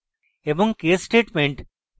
case statements